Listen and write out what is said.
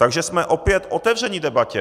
Takže jsme opět otevřeni debatě.